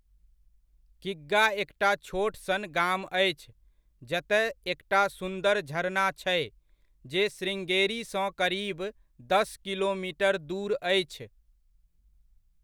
किग्गा एकटा छोट सन गाम अछि, जतय एकटा सुंदर झरना छै, जे श्रृंगेरीसँ करीब दस किलोमीटर दूर अछि।